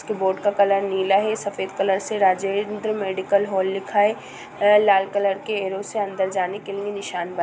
Board का colour नीला है सफेद कलर से राजेंद्र मेडिकल हॉल लिखा है। लाल कलर के एरो से अंदर जाने के लिए निशान बन--